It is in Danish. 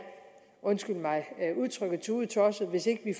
undskyld mig udtrykket tudetosset hvis ikke vi